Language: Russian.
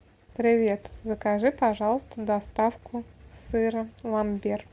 привет закажи пожалуйста доставку сыра ламбер